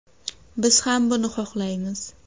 Biz ham buni xohlaymiz.